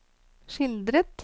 skildret